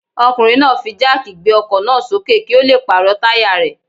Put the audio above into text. Ọkùnrin náà fi jáàkì gbé ọkọ̀ náà sókè kí ó le pàrọ̀ táyà rẹ̀.